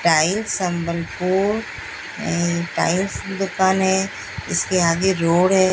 Tiles Sambalpur ए tiles की दुकान है इसके आगे रोड है।